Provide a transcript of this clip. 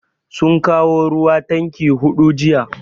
Sun kawo ruwa tanki hudu jiya.